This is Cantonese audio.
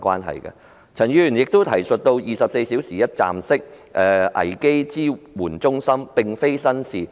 陳議員亦建議當局設立24小時一站式危機支援中心，這並非新鮮事。